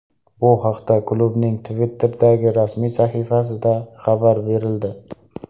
Bu haqda klubning Twitter’dagi rasmiy sahifasida xabar berildi .